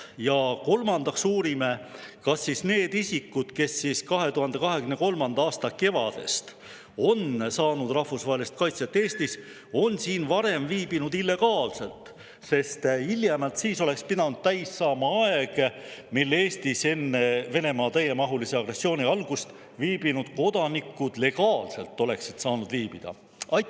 Ja kolmandaks uurime, kas need isikud, kes alates 2023. aasta kevadest on Eestis rahvusvahelise kaitse saanud, viibisid siin varem illegaalselt, sest hiljemalt sel ajal oleks pidanud täis saama aeg, mil enne Venemaa täiemahulise agressiooni algust Eestis viibinud kodanikud saanuks siin viibida legaalselt.